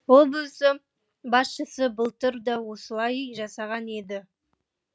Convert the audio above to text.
облыс басшысы былтыр да осылай жасаған еді